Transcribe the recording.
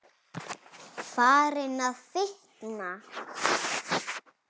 Farin að fitna.